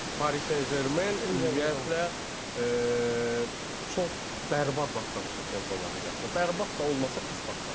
Paris Saint-Germain ümumiyyətlə çox bərbad başlamışdı Çempionlar Liqasına, bərbad da olmasa pis başlamışdı.